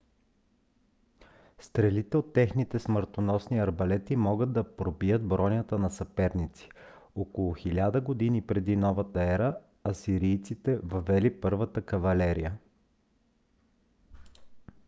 стрелите от техните смъртоносни арбалети могат да пробият бронята на съперници. около 1000 г. пр.н.е. асирийците въвели първата кавалерия